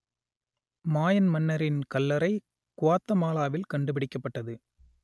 மாயன் மன்னரின் கல்லறை குவாத்தமாலாவில் கண்டுபிடிக்கப்பட்டது